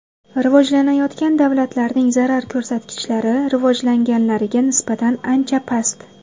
Rivojlanayotgan davlatlarning zarar ko‘rsatkichlari rivojlanganlariga nisbatan ancha past.